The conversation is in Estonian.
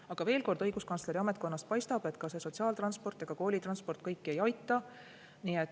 Aga veel kord, õiguskantsleri ametkonnale paistab, et ka see sotsiaaltransport ega koolitransport kõiki ei aita.